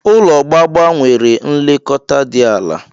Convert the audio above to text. Ụlọ gbagba nwere nlekọta di ala.